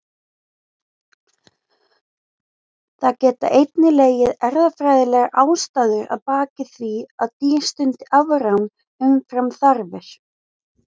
Það geta einnig legið erfðafræðilegar ástæður að baki því að dýr stundi afrán umfram þarfir.